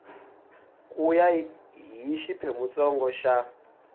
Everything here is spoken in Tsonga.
ku ya hi xiphemuntsongo xa